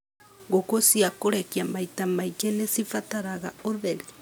Ngũkũ cia kũrekia maita maingĩ nĩ cibataraga ũtheri